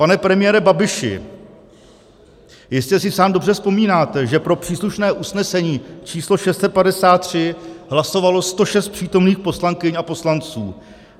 Pane premiére Babiši, jistě si sám dobře vzpomínáte, že pro příslušné usnesení číslo 653 hlasovalo 106 přítomných poslankyň a poslanců.